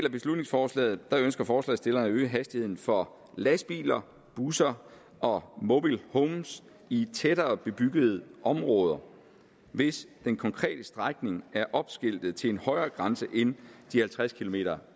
af beslutningsforslaget ønsker forslagsstillerne at øge hastigheden for lastbiler busser og mobilehomes i tættere bebyggede områder hvis den konkrete strækning er opskiltet til en højere grænse end halvtreds kilometer